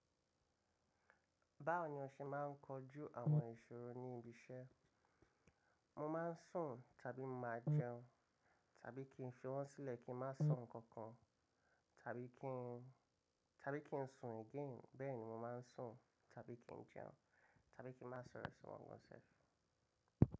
Báwo ni o se máà ń kojú àwọn ìṣòro ní ibi iṣẹ́? Mo máà ń sùn tàbí mọ máa jẹun tàbí kí n fi wọ́n sílẹ̀ kí n má sọ kankan tàbí kí n, tàbí kí n sùn again. Bẹ́ẹ̀ ni mo máa ń sùn tàbí kí n jẹun tàbí kí n má sọ̀rọ̀ sí wọn gan self.